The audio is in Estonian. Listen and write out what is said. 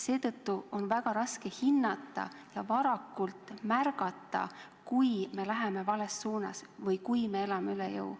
Seetõttu on väga raske hinnata ja varakult märgata, kui me läheme vales suunas või kui me elame üle jõu.